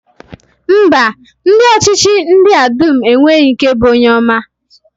Mba, ndị ọchịchị ndị a dum enweghị nke bụ onye ọma.